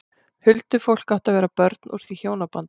Huldufólk átti að vera börn úr því hjónabandi.